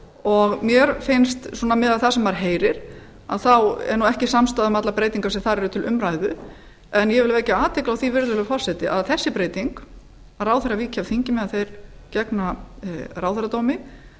og mér finnst miðað við það sem maður heyrir að það sé nú ekki samstaða um allar breytingar sem þar eru til umræðu en ég vil vekja athygli á því virðulegi forseti að þessi breyting að ráðherra víki af þingi meðan þeir gegna ráðherradómi